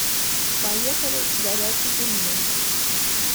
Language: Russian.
поехали горячий пельмень